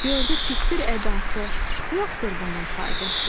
Gördü pisdir ədası, yoxdur bunun faydası.